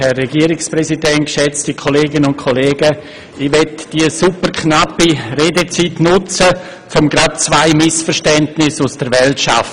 Ich möchte die knappe Redezeit nutzen, um zwei Missverständnisse aus der Welt zu schaffen.